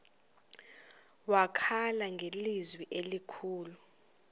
wakhala ngelizwi elikhulu